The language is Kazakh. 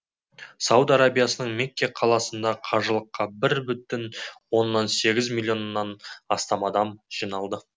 сауд арабиясының мекке қаласында қажылыққа бір бүтін оннан сегіз миллионнан астам адам жиналды